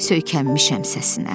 Söykənmişəm səsinə.